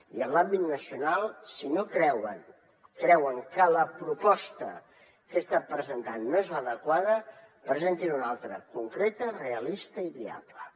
i en l’àmbit nacional si creuen que la proposta que he estat presentant no és l’adequada presentinne una altra de concreta realista i viable